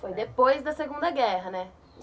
Foi depois da segunda guerra, né?